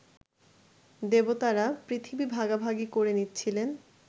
দেবতারা পৃথিবী ভাগাভাগি করে নিচ্ছিলেন